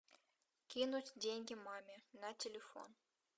кинуть деньги маме на телефон